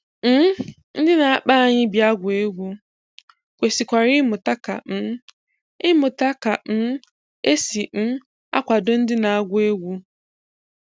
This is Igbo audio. um Ndị na-akpọ anyị bịa gụọ egwu kwesikwara ịmụta ka um ịmụta ka um e si um akwado ndị na-agụ egwu